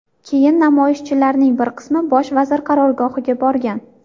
Keyin namoyishchilarning bir qismi bosh vazir qarorgohiga borgan.